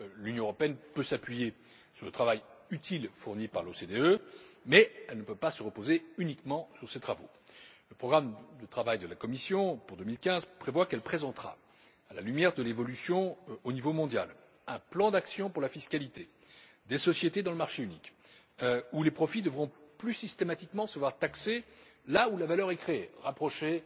L'Union peut s'appuyer sur le travail utile fourni par l'OCDE, mais elle ne peut pas se reposer uniquement sur ses travaux. Le programme de travail de la Commission pour 2015 prévoit qu'elle présentera, à la lumière de l'évolution au niveau mondial, un plan d'action pour la fiscalité des sociétés dans le marché unique, où les profits devront plus systématiquement se voir taxés là où la valeur est créée, pour rapprocher